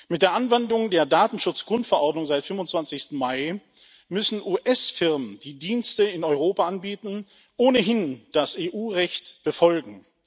Mit der Anwendung der Datenschutz Grundverordnung seit dem 25. Mai müssen US Firmen, die Dienste in Europa anbieten, ohnehin das EU Recht befolgen.